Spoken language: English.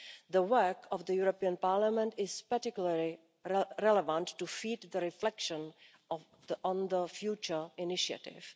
The work of the European Parliament is particularly relevant to feed the reflection on the future initiative.